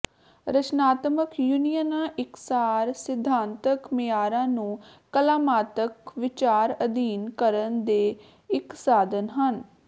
ਰਚਨਾਤਮਕ ਯੂਨੀਅਨਾਂ ਇਕਸਾਰ ਸਿਧਾਂਤਕ ਮਿਆਰਾਂ ਨੂੰ ਕਲਾਤਮਕ ਵਿਚਾਰ ਅਧੀਨ ਕਰਨ ਦੇ ਇੱਕ ਸਾਧਨ ਹਨ